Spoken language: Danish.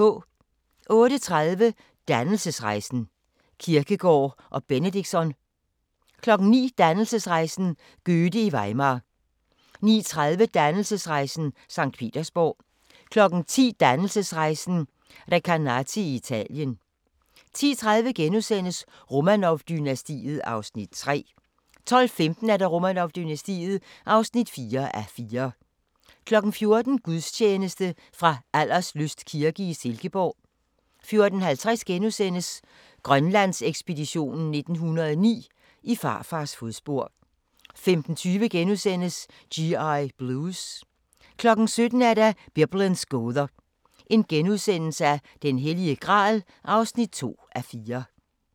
08:30: Dannelsesrejsen – Kierkegaard og Benedictsson 09:00: Dannelsesrejsen – Goethe i Weimar 09:30: Dannelsesrejsen – Sankt Petersborg 10:00: Dannelsesrejsen – Recanati i Italien 10:30: Romanov-dynastiet (3:4)* 12:15: Romanov-dynastiet (4:4) 14:00: Gudstjeneste fra Alderslyst kirke i Silkeborg 14:50: Grønlandsekspeditionen 1909: I farfars fodspor * 15:20: G.I. Blues * 17:00: Biblens gåder – Den Hellige Gral (2:4)*